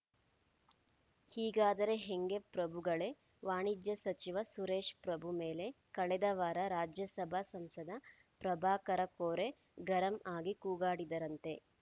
ಹೀಗಾದರೆ ಹೆಂಗೆ ಪ್ರಭುಗಳೇ ವಾಣಿಜ್ಯ ಸಚಿವ ಸುರೇಶ್‌ ಪ್ರಭು ಮೇಲೆ ಕಳೆದ ವಾರ ರಾಜ್ಯಸಭಾ ಸಂಸದ ಪ್ರಭಾಕರ ಕೋರೆ ಗರಂ ಆಗಿ ಕೂಗಾಡಿದರಂತೆ